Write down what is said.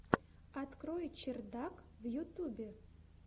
открой чердак в ютубе